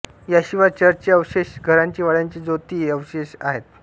याशिवाय चर्चचे अवशेष घरांची वाड्यांची जोती हे अवशेष आहेत